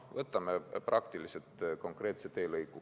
Võtame näiteks konkreetse teelõigu.